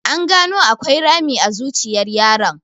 An gano akwai rami a zuciyar yaron.